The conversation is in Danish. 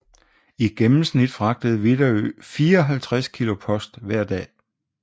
I gennemsnit fragtede Widerøe 54 kilo post hver dag